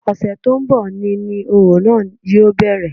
Ọ̀sẹ̀ tó ń bọ̀ ni ni òrò náà yóò bẹ̀rẹ̀